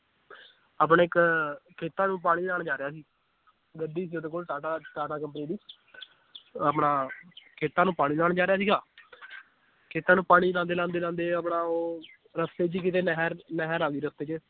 ਆਪਣੇ ਇਕ ਖੇਤਾਂ ਨੂੰ ਪਾਣੀ ਲਾਣ ਜਾ ਰਿਹਾ ਸੀ ਗੱਡੀ ਸੀ ਓਹਦੇ ਕੋਲ ਟਾਟਾ ਟਾਟਾ company ਦੀ ਆਪਣਾ ਖੇਤਾਂ ਨੂੰ ਪਾਣੀ ਲਾਉਣ ਜਾ ਰਿਹਾ ਸੀਗਾ ਖੇਤਾਂ ਨੂੰ ਪਾਣੀ ਲਾਉਂਦੇ ਲਾਉਂਦੇ ਲਾਉਂਦੇ ਆਪਣਾ ਉਹ ਰਸਤੇ ਚ ਹੀ ਕਿਤੇ ਨਹਿਰ ਨਹਿਰ ਆਉਂਦੀ ਰਸਤੇ ਚ